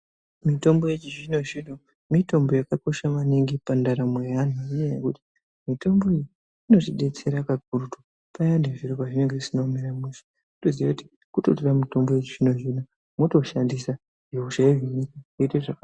Mitombo yechizvino-zvino mitombo yakakosha maningi pandaramo yeantu ngenyaya yekuti inotidetsera kakurutu payani zviro pazvinenge zvisina kumira mushe, kutoziya kuti kutotora mutombo wechizvino-zvino mwotoshandisa zvoite zvakanaka.